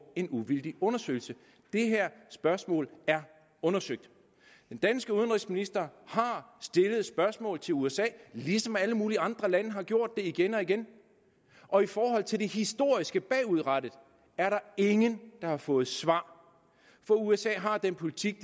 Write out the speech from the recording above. en uvildig undersøgelse det her spørgsmål er undersøgt den danske udenrigsminister har stillet et spørgsmål til usa ligesom alle mulige andre lande har gjort det igen og igen og i forhold til det historiske bagudrettet er der ingen der har fået svar for usa har den politik